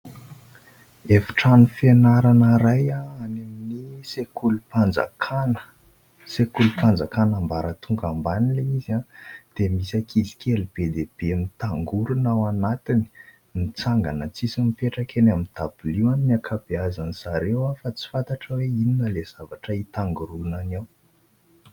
Efitrano fianarana iray any amin'ny sekolim-panjakana. Sekolim-panjakana ambaratonga ambany ilay izy dia misy ankizy kely be dia be nitangorona ao anatiny ; mitsangana tsisy mipetraka eny amin'ny tabilio any ny ankabeazany zareo fa tsy fantatra hoe inona ilay zavatra hitangoronany ao ?